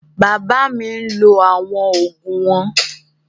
Bàbá mi ń lọ àwọn ògùn wọn